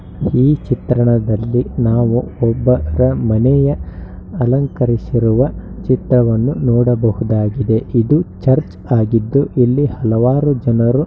ಈ ಚಿತ್ರಣದಲ್ಲಿ ನಾವು ಒಬ್ಬರ ಮನೆಯ ಅಲಂಕರಿಸಿರುವ ಚಿತ್ರವನ್ನು ನೋಡಬಹುದಾಗಿದೆ. ಇದು ಚರ್ಚ್ ಆಗಿದ್ದು ಇಲ್ಲಿ ಹಲವಾರು ಜನರು --